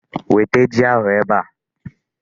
Weta ji ahụ ebe a.